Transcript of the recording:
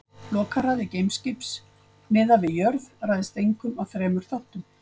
Lokahraði geimskips miðað við jörð ræðst einkum af þremur þáttum.